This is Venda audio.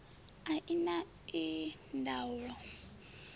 a i na ii ndaula